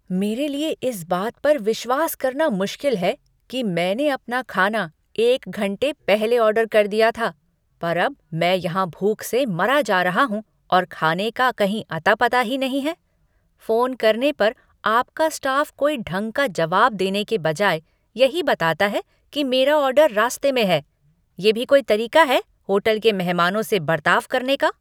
मेरे लिए इस बात पर विश्वास करना मुश्किल है कि मैंने अपना खाना एक घंटे पहले ऑर्डर कर दिया था, पर अब मैं यहाँ भूख से मरा जा रहा हूँ और खाने का कहीं अता पता ही नहीं है। फोन करने पर आपका स्टाफ कोई ढंग का जवाब देने के बजाय यही बताता है कि मेरा ऑर्डर रास्ते में है। ये भी कोई तरीका है होटल के मेहमानों से बर्ताव करने का?